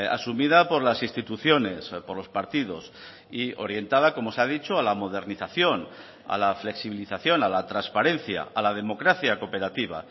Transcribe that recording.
asumida por las instituciones por los partidos y orientada como se ha dicho a la modernización a la flexibilización a la transparencia a la democracia cooperativa